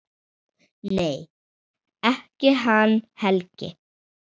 Nei, ekki hann Helgi.